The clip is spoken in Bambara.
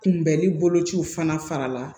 Kunbɛnni bolociw fana fara la